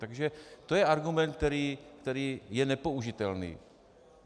Takže to je argument, který je nepoužitelný.